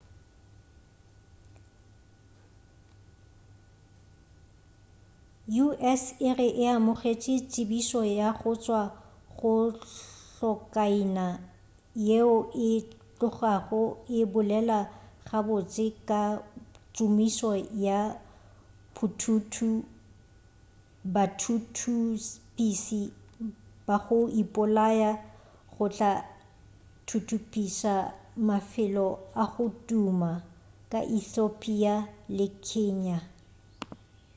u.s. e re e amogetše tsebišo go tšwa go hlokaina yeo e tlogago e bolela gabotse ka tšomišo ya bathuthupiši ba go ipolaya go tla thuthupiša mafelo a go tuma ka ethiopia le kenya